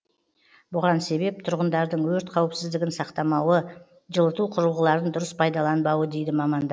бұған себеп тұрғындардың өрт қауіпсіздігін сақтамауы жылыту құрылғыларын дұрыс пайдаланбауы дейді мамандар